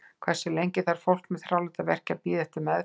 Hversu lengi þarf fólk með þráláta verki að bíða eftir meðferð?